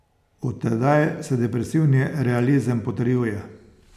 Od tedaj se depresivni realizem potrjuje.